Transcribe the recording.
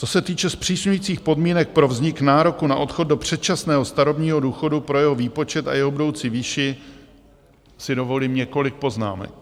Co se týče zpřísňujících podmínek pro vznik nároku na odchod do předčasného starobního důchodu, pro jeho výpočet a jeho budoucí výši, si dovolím několik poznámek.